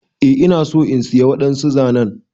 Eh ina so in siya wadansu zanen.